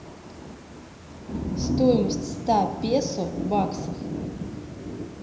стоимость ста песо в баксах